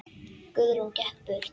Guðrún gekk burt.